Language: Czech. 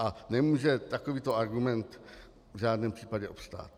A nemůže takovýto argument v žádném případě obstát.